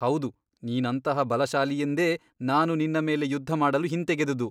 ಹೌದು ನೀನಂತಹ ಬಲಶಾಲಿಯೆಂದೇ ನಾನು ನಿನ್ನ ಮೇಲೆ ಯುದ್ಧ ಮಾಡಲು ಹಿಂತೆಗೆದುದು.